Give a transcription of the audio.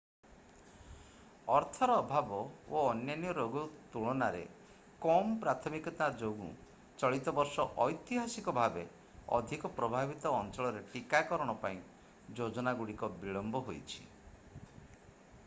ଅର୍ଥର ଅଭାବ ଓ ଅନ୍ୟାନ୍ୟ ରୋଗ ତୁଳନାରେ କମ୍ ପ୍ରାଥମିକତା ଯୋଗୁଁ ଚଳିତ ବର୍ଷ ଐତିହାସିକ ଭାବେ ଅଧିକ ପ୍ରଭାବିତ ଅଞ୍ଚଳରେ ଟୀକାକରଣ ପାଇଁ ଯୋଜନାଗୁଡ଼ିକ ବିଳମ୍ବ ହୋଇଛି